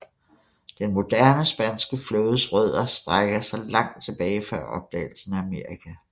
Den moderne spanske flådes rødder strækker sig til langt tilbage før opdagelsen af Amerika